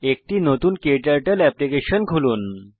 একটি নতুন ক্টার্টল অ্যাপ্লিকেশন খুলুন